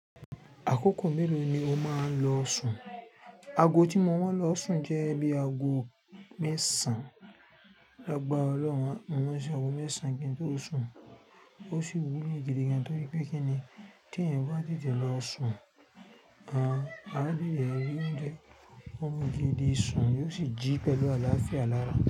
Àkókò mélòó ni o máa ń lo Ṣùù? Ago tí mo máa ń lo Ṣùù jẹ́ bí ago mẹ́sàn-án. La gbara Ọlọ́run, mo ma ń ṣe ago mẹ́sàn-án kí n tó sùn. Ó sì wú mí gidigan torí pé kí ni tí ẹ̀yin bá dìde lọ sùn, a á bí yẹn rí oúnjẹ, ọmọ gidi Ṣùù yóò sì jí pẹ̀lú àlàáfíà lára.